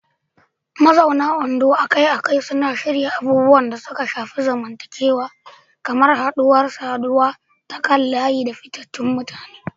Mazauna Ondo akai-akai suna shirya abubuwan da suka shafi zamantakewa kamar haɗuwar saduwa ta kan layi da fitattun mutane.